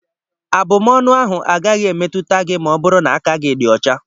Abụmọnụ ahụ agaghị emetụta gị ma ọ bụrụ na aka gị dị ụcha.